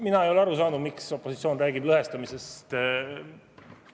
Mina ei ole aru saanud, miks opositsioon räägib lõhestamisest.